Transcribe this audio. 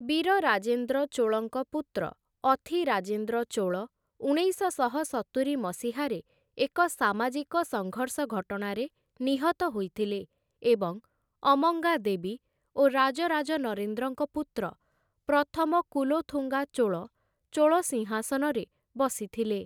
ବୀରରାଜେନ୍ଦ୍ର ଚୋଳଙ୍କ ପୁତ୍ର, ଅଥିରାଜେନ୍ଦ୍ର ଚୋଳ ଉଣେଇଶଶହ ସତୁରି ମସିହାରେ ଏକ ସାମାଜିକ ସଙ୍ଘର୍ଷ ଘଟଣାରେ ନିହତ ହୋଇଥିଲେ ଏବଂ ଅମ୍ମଙ୍ଗା ଦେବୀ ଓ ରାଜରାଜ ନରେନ୍ଦ୍ରଙ୍କ ପୁତ୍ର, ପ୍ରଥମ କୁଲୋଥୁଙ୍ଗା ଚୋଳ 'ଚୋଳ ସିଂହାସନ'ରେ ବସିଥିଲେ ।